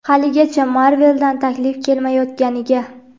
haligacha Marvel dan taklif kelmayotganiga.